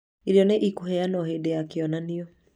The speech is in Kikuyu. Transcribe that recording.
irio nĩ ikũheanwo hĩndĩ ya kĩonanio.